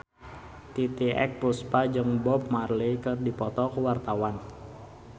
Titiek Puspa jeung Bob Marley keur dipoto ku wartawan